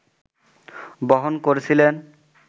বহন করছিলেন